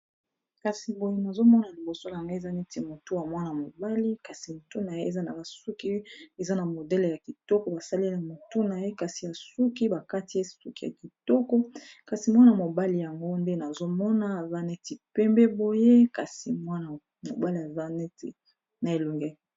Awa nazomona liboso nangai eza neti motu ya mwana mobali kasi motu na ye eza na basuki eza na modele ya kitoko basaleliya motu na ye yasuki bakatiy e suki ya kitoko mwana mobali yango nde nazomona vaneti pembe boye kasi mwana mobali azaneti na elongi ya kitoko